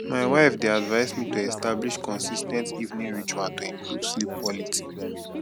my wife dey advise me to establish consis ten t evening ritual to improve sleep quality